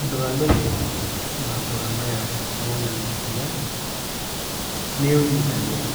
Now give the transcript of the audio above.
Ũndũ wa mbere maambura maya monanagia, nĩ ũnyitanĩri